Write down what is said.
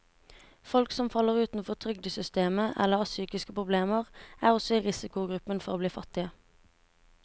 Folk som faller utenfor trygdesystemet eller har psykiske problemer, er også i risikogruppen for å bli fattige.